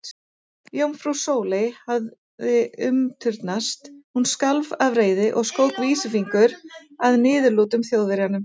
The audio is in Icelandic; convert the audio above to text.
Jómfrú Sóley hafði umturnast, hún skalf af reiði og skók vísifingur að niðurlútum Þjóðverjanum.